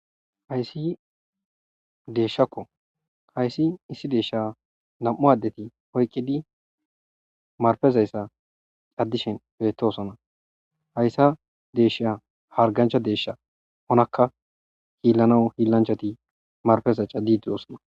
hayssi deeshshakko hayssi issi deeshsha nam7u addeti oyqqidi marfezayssa caddishen beettosona hayssa deeshsha hargancha deeshsha onakka hiillana hiillanchati marfeza cadi diosona